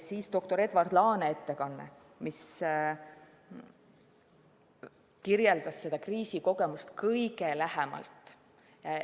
Doktor Edward Laane ettekanne kirjeldas seda kriisikogemust kõige lähemalt.